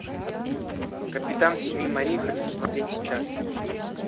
капитан семи морей хочу смотреть сейчас